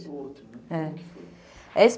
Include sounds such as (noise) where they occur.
(unintelligible) Exatamente. (unintelligible)